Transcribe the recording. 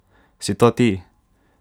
Si to ti?